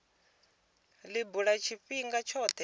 li bula tshifhinga tshothe kha